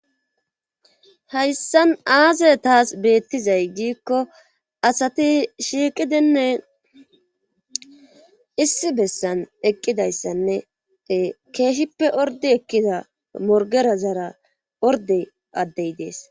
Heyssan aaze taas beettizay giikko asati shiiqidinne issi bessan eqqidayssanne keeshshippe ordi ekkida morgera zara orde addey dees.